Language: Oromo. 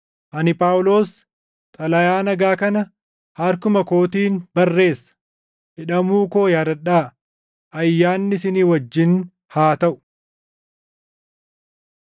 Ani Phaawulos, xalayaa nagaa kana harkuma kootiin barreessa. Hidhamuu koo yaadadhaa. Ayyaanni isin wajjin haa taʼu.